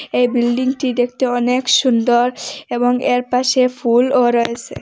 এই বিল্ডিংটি দেখতে অনেক সুন্দর এবং এর পাশে ফুলও রয়েছে।